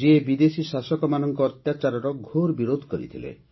ଯିଏ ବିଦେଶୀ ଶାସକମାନଙ୍କ ଅତ୍ୟାଚାରର ଘୋର ବିରୋଧ କରିଥିଲେ